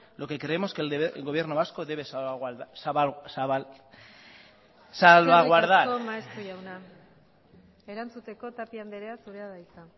lo que creemos que el gobierno vasco debe salvaguardar eskerrik asko maeztu jauna erantzuteko tapia anderea zurea da hitza